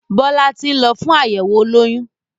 Bọlá tí ń lọ fún àyẹ̀wọ̀ olóyún